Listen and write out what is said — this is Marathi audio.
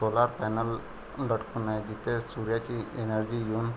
सोलार पॅनल लटकून आहे जिथे सूर्याची एनर्जी येऊन --